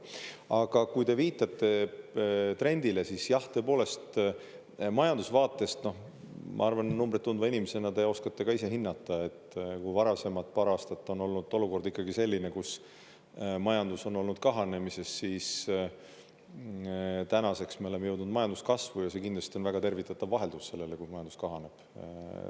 Aga kui te viitate trendile, siis jah, tõepoolest, majandusvaatest – ma arvan, numbreid tundva inimesena te oskate ise hinnata –, kui varasemad paar aastat on olnud olukord selline, kus majandus on olnud kahanemises, siis tänaseks me oleme jõudnud majanduskasvu ja see kindlasti on väga tervitatav vaheldus sellele, kui majandus kahaneb.